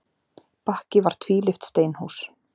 Bakki var tvílyft steinhús.